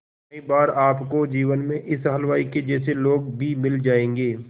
कई बार आपको जीवन में इस हलवाई के जैसे लोग भी मिल जाएंगे